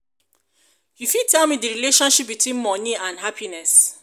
you fit tell me di relationship between money and happiness?